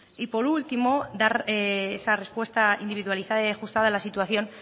y por último dar esa respuesta individualizada y ajustada a la situación